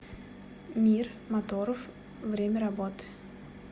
мир моторов время работы